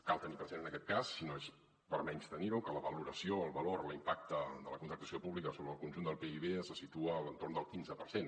cal tenir present en aquest cas i no és per menystenir·ho que la valoració el valor l’impacte de la contractació pública sobre el conjunt del pib se situa a l’entorn del quinze per cent